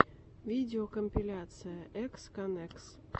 видеокомпиляция эксконэкс